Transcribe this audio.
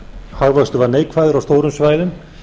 hagvöxtur var neikvæður á stórum svæðum